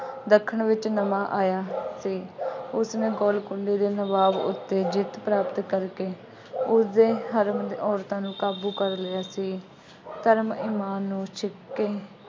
ਦੱਖਣ ਵਿੱਚ ਨਵਾਂ ਆਇਆ ਅਤੇ ਉਸਨੇ ਗੋਲਕੁੰਡੇ ਦੇ ਨਵਾਬ ਉੱਤੇ ਜਿੱਤ ਪ੍ਰਾਪਤ ਕਰਕੇ ਉਸਦੇ ਔਰਤਾਂ ਨੂੰ ਕਾਬੂ ਕਰ ਲਿਆ ਅਤੇ ਧਰਮ ਸਮਾਨ ਉਹ ਚ